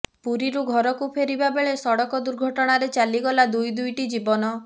ପୁରୀରୁ ଘରକୁ ଫେରିବା ବେଳେ ସଡ଼କ ଦୁର୍ଘଟଣାରେ ଚାଲିଗଲା ଦୁଇ ଦୁଇଟି ଜୀବନ